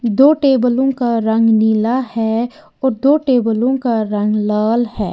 दो टेबलों का रंग नीला है और दो टेबलों का रंग लाल है।